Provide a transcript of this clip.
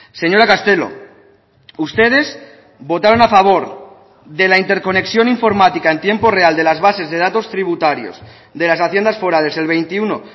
señora castelo ustedes votaron a favor de la interconexión informática en tiempo real de las bases de datos tributarios de las haciendas forales el veintiuno